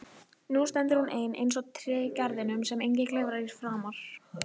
Nú stendur hún ein eins og tréð í garðinum sem enginn klifrar í framar.